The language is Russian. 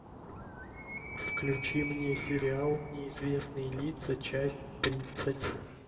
включи мне сериал неизвестные лица часть тридцать